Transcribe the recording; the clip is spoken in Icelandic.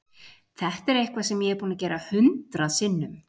Þetta er eitthvað sem ég er búinn að gera hundrað sinnum.